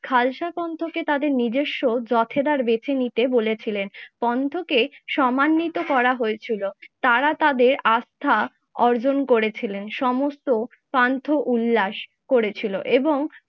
খালসা কণ্ঠকে তাদের নিজস্ব যথেদার বেছেনিতে বলেছিলেন। কন্টকে সমানিত করা হয়েছিল, তারা তাদের আস্থা অর্জন করেছিলেন, সমস্ত পান্থ উল্লাস করেছিল এবং